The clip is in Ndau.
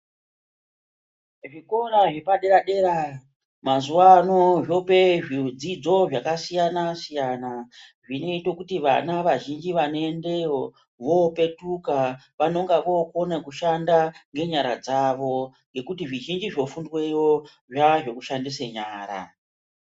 Zvikora zvepadera-dera mazuva ano zvope zvidzidzo zvakasiyana-siyana, zvinote kuti vana vazhinji vanoendeyo vopetuka unonga vokona kushanda ngenyara dzavo. Ngekuti zvizhinji zvofundweyo zvazvekushandisa nyara.